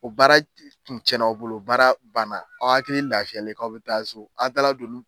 O baara tun tiɲɛn'aw bolo, baara banna, aw hakili lafiyalen k'aw bɛ taa so, a taala don olu